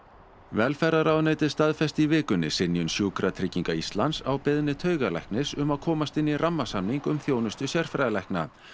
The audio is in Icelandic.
velferðarráðuneytið staðfesti í vikunni synjun Sjúkratrygginga Íslands á beiðni taugalæknis um að komast inn í rammasamning um þjónustu sérfræðilækna